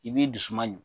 I b'i dusu man ɲi